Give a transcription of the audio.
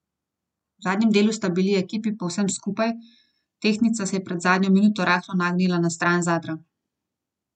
V zadnjem delu sta bili ekipi povsem skupaj, tehtnica se je pred zadnjo minuto rahlo nagnila na stran Zadra.